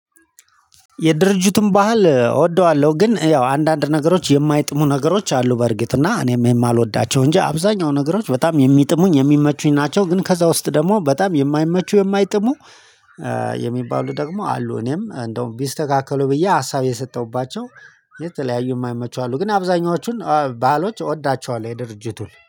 የድርጅቱን ባህል እወደዋለሁ ግን ያው አንዳንድ ነገሮች የማይጥሙ ነገሮች አሉ በእርግጥ እና እኔም የማልወዳቸው እንጂ አብዛኛው ነገሮች በጣም የሚጥሙኝ የሚመቹኝ ናቸው። ግን ከዛ ውስጥ ደግሞ በጣም የማይመቹ የማይጥሙ የሚባሉ ደግሞ አሉ። እኔም እንደውም ቢስተካከሉ ብዬ ሀሳብ የሰጠሁባቸው የተለያዩ የማይመቹ አሉ ግን አብዛኛዎቹን ባሀሎች እወዳቸዋለሁ። የድርጅቱን